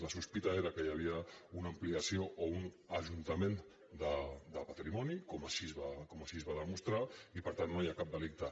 la sospita era que hi havia una ampliació o un ajuntament de patrimoni com així es va demostrar i per tant no hi ha cap delicte